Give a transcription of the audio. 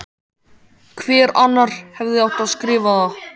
Hver annar hefði átt að skrifa það?